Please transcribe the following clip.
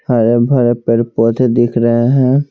हरे भरे पेड़ पौधे दिख रहे हैं।